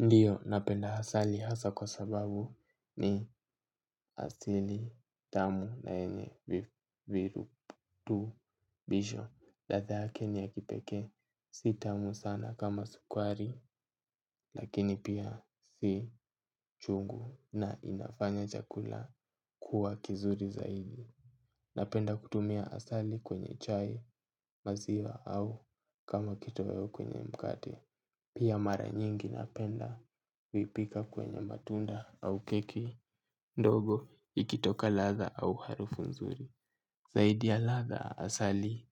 Ndiyo napenda asali hasa kwa sababu ni asili tamu na yenye virutubisho. Ladha yake ni ya kipekee si tamu sana kama sukari lakini pia si chungu na inafanya chakula kuwa kizuri zaidi. Napenda kutumia asali kwenye chai maziwa au kama kitoweo kwenye mkate. Pia mara nyingi napenda, kuipika kwenye matunda au keki, ndogo, ikitoka ladha au harufu nzuri zaidi ya ladha asali